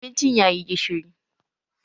Abincin ya yi gishiri